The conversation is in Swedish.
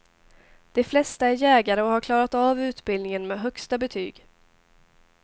De flesta är jägare och har klarat av utbildningen med högsta betyg.